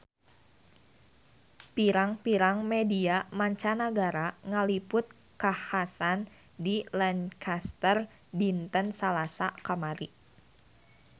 Pirang-pirang media mancanagara ngaliput kakhasan di Lancaster dinten Salasa kamari